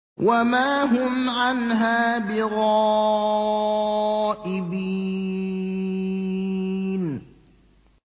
وَمَا هُمْ عَنْهَا بِغَائِبِينَ